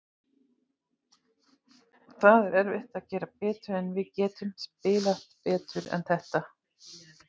Það er erfitt að gera betur, en við getum spilað betur en þetta.